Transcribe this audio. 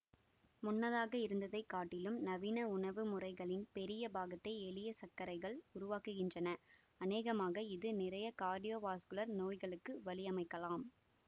முன்னதாக இருந்ததை காட்டிலும் நவீன உணவுமுறைகளின் பெரிய பாகத்தை எளிய சர்க்கரைகள் உருவாக்குகின்றன அநேகமாக இது நிறைய கார்டியோவாஸ்குலர் நோய்களுக்கு வழியமைக்கலாம்